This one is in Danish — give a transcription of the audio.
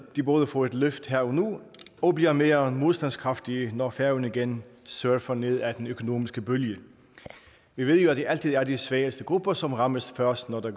de både får et løft her og nu og bliver mere modstandsdygtige når færøerne igen surfer ned ad den økonomiske bølge vi ved jo at det altid er de svageste grupper som rammes først når der